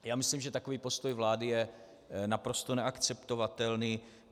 Já myslím, že takový postoj vlády je naprosto neakceptovatelný.